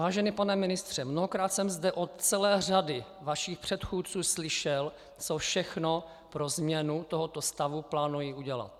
Vážený pane ministře, mnohokrát jsem zde od celé řady vašich předchůdců slyšel, co všechno pro změnu tohoto stavu plánují udělat.